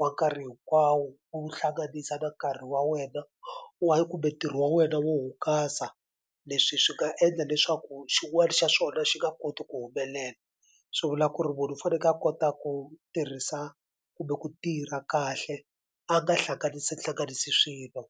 wa nkarhi hinkwawo u wu hlanganisa na nkarhi wa wena wa kumbe ntirho wa wena wo hungasa leswi swi nga endla leswaku xin'wani xa swona xi nga koti ku humelela swi vula ku ri munhu u faneke a kota ku tirhisa kumbe ku tirha kahle a nga hlanganisi hlanganisi swilo.